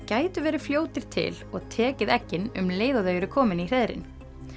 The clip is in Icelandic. gætu verið fljótir til og tekið eggin um leið og þau eru komin í hreiðrin